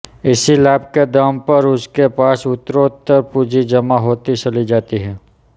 इसी लाभ के दम पर उसके पास उत्तरोत्तर पूँजी जमा होती चली जाती है